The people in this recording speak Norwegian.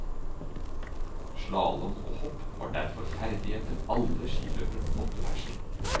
Slalom og hopp var derfor ferdigheter alle skiløpere måtte beherske.